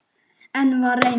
Enn var reynt.